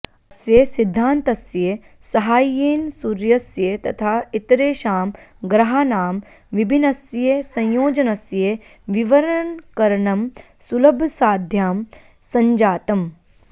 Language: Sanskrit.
अस्य सिद्धान्तस्य साहाय्येन सूर्यस्य तथा इतरेषां ग्रहाणां विभिन्नस्य संयोजनस्य विवरणकरणं सुलभसाध्यं सञ्जातम्